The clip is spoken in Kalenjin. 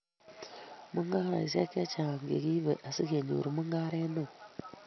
mungareishek chechang chegiibe asigenyor mungaret neo